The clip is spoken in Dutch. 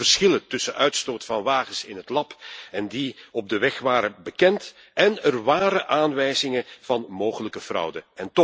De grote verschillen tussen uitstoot van wagens in het lab en die op de weg waren bekend en er waren aanwijzingen van mogelijke fraude.